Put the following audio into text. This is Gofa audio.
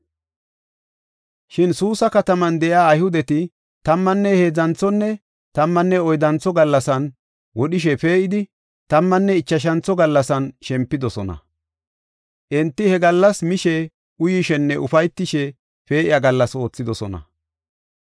Shin Suusa kataman de7iya Ayhudeti tammanne heedzanthonne tammanne oyddantho gallasan wodhishe pee7idi, tammanne ichashantho gallasan shempidosona. Enti he gallasaa mishe, uyishenne ufaytishe pee7iya gallas oothidosona.